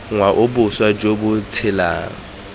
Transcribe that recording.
ngwao boswa jo bo tshelang